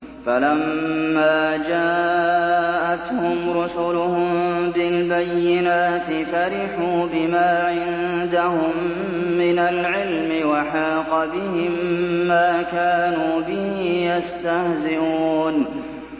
فَلَمَّا جَاءَتْهُمْ رُسُلُهُم بِالْبَيِّنَاتِ فَرِحُوا بِمَا عِندَهُم مِّنَ الْعِلْمِ وَحَاقَ بِهِم مَّا كَانُوا بِهِ يَسْتَهْزِئُونَ